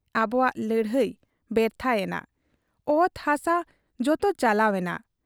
ᱟᱵᱚᱣᱟᱜ ᱞᱟᱹᱲᱦᱟᱹᱭ ᱵᱮᱨᱛᱷᱟ ᱭᱮᱱᱟ ᱾ ᱚᱛ ᱦᱟᱥᱟ ᱡᱚᱛᱚ ᱪᱟᱞᱟᱣ ᱮᱱᱟ ᱾